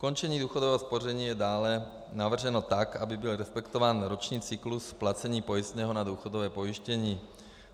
Ukončení důchodového spoření je dále navrženo tak, aby byl respektován roční cyklus placení pojistného na důchodové pojištění.